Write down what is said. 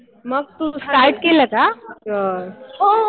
मग तू स्टार्ट केलं का?